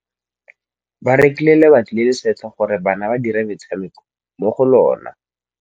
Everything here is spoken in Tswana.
Ba rekile lebati le le setlha gore bana ba dire motshameko mo go lona.